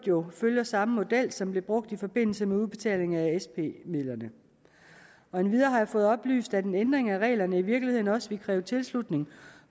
i øvrigt følger samme model som blev brugt i forbindelse med udbetaling af sp midlerne endvidere har jeg fået oplyst at en ændring af reglerne i virkeligheden også vil kræve tilslutning